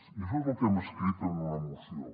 i això és el que hem escrit en una moció